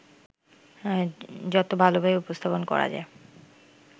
যত ভালোভাবে উপস্থাপন করা যায়